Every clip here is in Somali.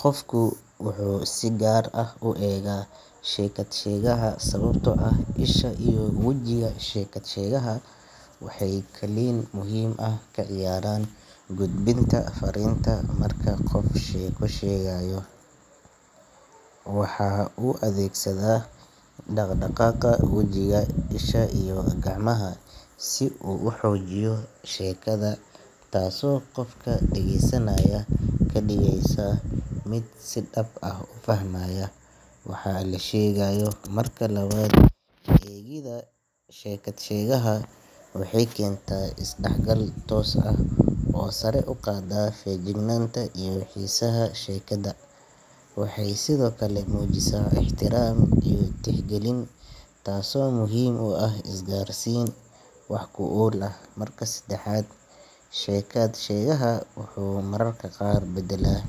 Qofka wuxuu si gaar ah u eegaa sheeko-sheegaha sababtoo ah isha iyo wejiga sheekat-sheegaha waxay kaalin muhiim ah ku leeyihiin gudbinta fariinta. Marka qof sheeko sheegayo, waa in uu adeegsadaa dhaq-dhaqaaqa wajiga, isha , iyo gacmahu si uu u xoojiyo sheekada. Taas oo ka dhigaysa qofka dhageysanaya mid si dhab ah u fahmayo waxa la sheegayo. Eegida sheeko-sheegaha waxay keentaa is-dhaaxgal toos ah oo sare u qaada feejignaanta iyo xisaaha sheekada. Waxay sidoo kale muujisaa ixtiraam iyo tixgelin, taas oo muhiim u ah isgaarsiin wax-ku-ool ah. Marka saddexaad, sheeko-sheegaha wuxuu mararka qaar badalaa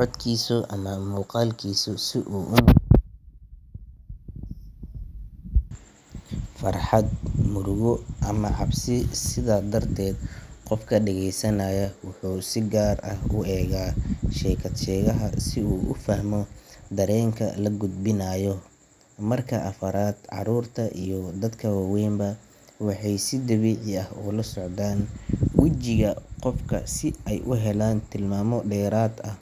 codkiisa ama muuqalkiisa si uu u turjumo farxad, murugo, ama cabsi. Sidaa darteed, qofka dhageysanaya wuxuu si gaar ah u eegaa sheeko-sheegaha si uu u fahmo dareenka la gudbinayo. Marka afaraad, carruurta iyo dadka waweyn ba waxay si dabiici ah ula socdaan wejiga qofka si ay u helaan tilmaamo dheeraad ah.